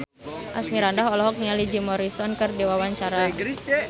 Asmirandah olohok ningali Jim Morrison keur diwawancara